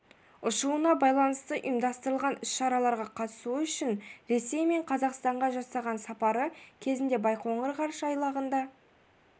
ұшуына байланысты ұйымдастырылған іс-шараларға қатысуы үшін ресей мен қазақстанға жасаған сапары кезінде байқоңыр ғарыш айлағында